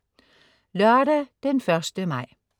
Lørdag den 1. maj